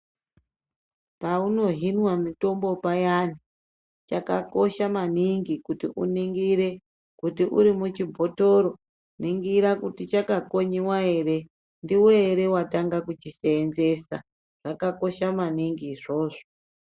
Paunohinwa mitombo payani, chakakosha maningi kuti uningire kuti uri muchibhotoro ningira kuti chakakonyiwa ere, ndiwe ere watanga kuchisenzesa, zvakakosha maningi izvozvo.